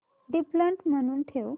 default म्हणून ठेव